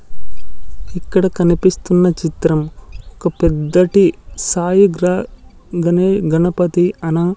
ఇక్కడ కనిపిస్తున్న చిత్రం ఒక పెద్దటి సాయి గ్రా గణే గణపతి అన--